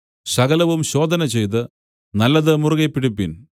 സകലവും ശോധനചെയ്ത് നല്ലത് മുറുകെ പിടിപ്പിൻ